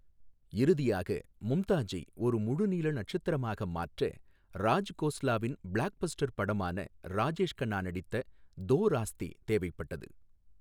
இறுதியாக மும்தாஜை ஒரு முழுநீள நட்சத்திரமாக மாற்ற ராஜ் கோஸ்லாவின் பிளாக்பஸ்டர் படமான ராஜேஷ் கன்னா நடித்த தோ ராஸ்தே தேவைப்பட்டது.